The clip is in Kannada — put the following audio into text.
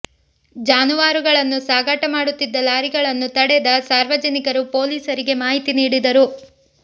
ಜಾನುವಾರುಗಳನ್ನು ಸಾಗಾಟ ಮಾಡುತ್ತಿದ್ದ ಲಾರಿಗಳನ್ನು ತಡೆದ ಸಾರ್ವಜನಿಕರು ಪೊಲೀಸರಿಗೆ ಮಾಹಿತಿ ನೀಡಿದರು